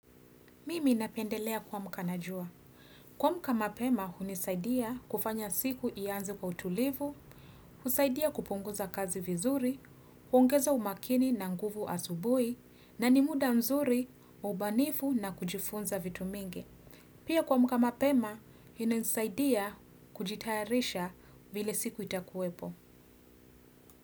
Mimi napendelea kuwa mkanajua. Kuamka mapema, hunisaidia kufanya siku ianzi kwa utulivu, husaidia kupunguza kazi vizuri, huongeza umakini na nguvu asubuhi, na ni muda mzuri, wa ubanifu na kujifunza vitu mingi. Pia kuamka mapema, inanisaidia kujitayarisha vile siku itakuwepo.